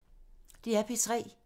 DR P3